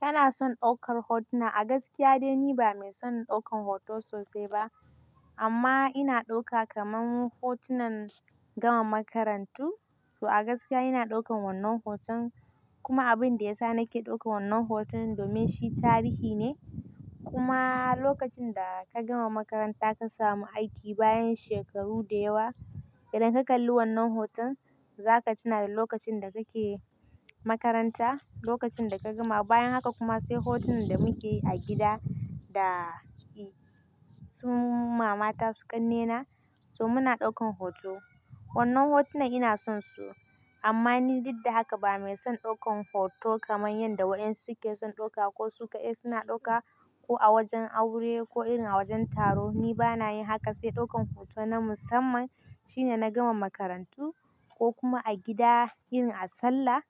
Kana son ɗaukar hotuna. A gaskiya dai ni ba mai son ɗaukan hoto sosai ba amma ina ɗauka kaman hotunan gama makarantu. To a gaskiya ina ɗaukan wannan hoton kuma abin da ya sa nake ɗaukan wannan hoton domin shi tarihi ne. Kuma lokacin da ka gama makaranta ka samu aiki bayan shekaru da yawa, idan ka kalli wannan hoton za ka tuna da lokacin da kake makaranta, lokacin da ka gama. Bayan haka kuma sai hotunan da muke yi a gida da su ma mata su ƙannena, to muna ɗaukan hoto. Wannan hotunan ina son su amma ni duk da haka ba mai son ɗaukan hoto kaman yanda waɗansu ke son ɗauka ko su ka'ai suna ɗauka kuma lokacin da ka gama makaranta ka samu aiki bayan shekaru da yawa, idan ka kalli wannan hoton za ka tuna da lokacin da kake makaranta, lokacin da ka gama. Bayan haka kuma sai hotunan da muke yi a gida da Ni bana yin haka sai ɗaukan hoto na musamman shine na gama makarantu ko kuma a gida yin a sallah